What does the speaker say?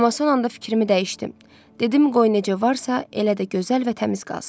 Amma son anda fikrimi dəyişdim, dedim qoy necə varsa, elə də gözəl və təmiz qalsın.